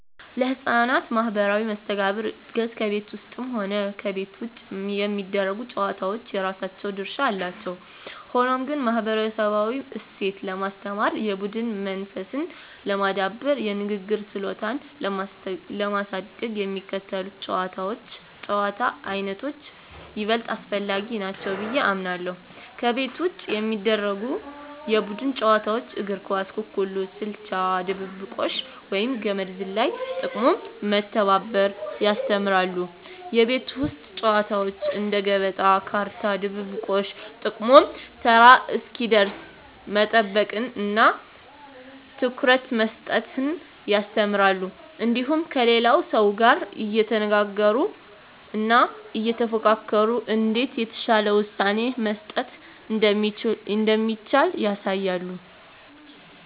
ለሕፃናት ማኅበራዊ መስተጋብር እድገት ከቤት ውስጥም ሆነ ከቤት ውጭ የሚደረጉ ጨዋታዎች የራሳቸው ድርሻ አላቸው። ሆኖም ግን፣ ማኅበረሰባዊ እሴትን ለማስተማር፣ የቡድን መንፈስን ለማዳበርና የንግግር ችሎታን ለማሳደግ የሚከተሉት የጨዋታ ዓይነቶች ይበልጥ አስፈላጊ ናቸው ብዬ አምናለሁ፦ ከቤት ውጭ የሚደረጉ የቡድን ጨዋታዎች እግር ኳስ፣ ኩኩሉ፣ ስልቻ ድብብቆሽ፣ ወይም ገመድ ዝላይ። ጥቅሙም መተባበርን ያስተምራሉ። የቤት ውስጥ ጨዋታዎች እንደ ገበጣ፣ ካርታ፣ ድብብቆሽ… ጥቅሙም ተራ እስኪደርስ መጠበቅንና ትኩረት መስጠትን ያስተምራሉ። እንዲሁም ከሌላው ሰው ጋር እየተነጋገሩና እየተፎካከሩ እንዴት የተሻለ ውሳኔ መስጠት እንደሚቻል ያሳያሉ።